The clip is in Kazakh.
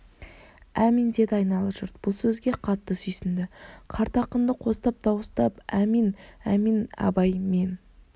әмин деді айнала жұрт бұл сөзге қатты сүйсінді қарт ақынды қостап дауыстап әмин әмин абай мен